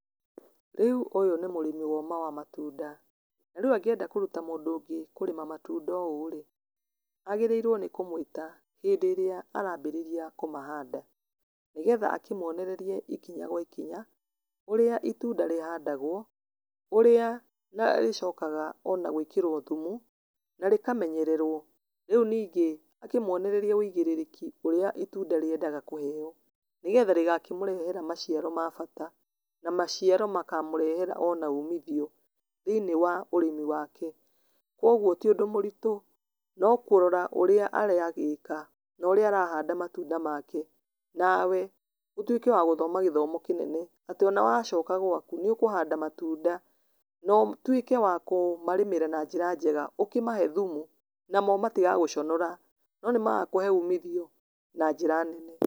Rĩu ũyũ nĩ mũrĩmi woma wa matunda, na riu angĩende kũruta mũndũ ũngĩ kũrĩma matunda ũũ rĩ, agĩrĩrwo nĩ kũmwĩta hĩndĩ ĩrĩa arambĩrĩria kũmahanda, nĩ getha akĩmwonererie ikinya gwa ikinya, ũrĩa itunda rĩhandagwo, ũrĩa na rĩcokaga ona gwĩkĩrwo thumu, na rĩkamenyererwo, rĩu ningĩ, ũkĩmwonererie wĩigĩrĩrĩki ũrĩa itunda rĩendaga kũheyo, nĩ getha rĩgakĩmũrehera maciaro mabata, na maciaro makamũrehera ona umithio, thĩinĩ wa ũrĩmi wake, koguo tiũndũ mũritũ, no kũrora ũrĩa aragĩka, norĩa arahanda matunda make, nawe ũtuĩke wa gũthoma gĩthomo kĩnene, atĩ ona wacoka gwaku nĩũkũhanda matunda notuĩke wa kũmarĩmĩra na njĩra njega, ũkĩmahe thumu namo matigagũconora, no nĩ magakũhe ũmithio na njĩra nene.